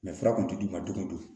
fura kun tɛ d'i ma don o don